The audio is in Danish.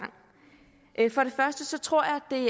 for det første tror jeg at det